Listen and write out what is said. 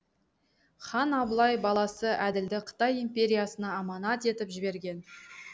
хан абылай баласы әділді қытай империясына аманат етіп жіберген